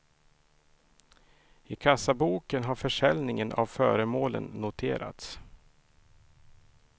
I kassaboken har försäljningen av föremålen noterats.